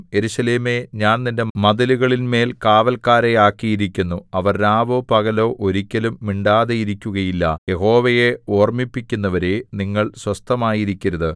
യെരൂശലേമേ ഞാൻ നിന്റെ മതിലുകളിന്മേൽ കാവല്ക്കാരെ ആക്കിയിരിക്കുന്നു അവർ രാവോ പകലോ ഒരിക്കലും മിണ്ടാതെയിരിക്കുകയില്ല യഹോവയെ ഓർമിപ്പിക്കുന്നവരേ നിങ്ങൾ സ്വസ്ഥമായിരിക്കരുത്